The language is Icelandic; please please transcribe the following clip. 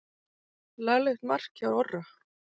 Laglegt mark hjá Orra.